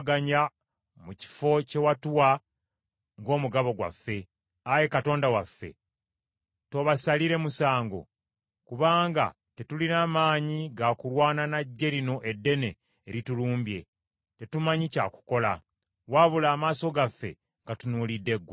Ayi Katonda waffe, toobasalire musango? Kubanga tetulina maanyi ga kulwana na ggye lino eddene eritulumbye. Tetumanyi kya kukola, wabula amaaso gaffe gatunuulidde ggwe.”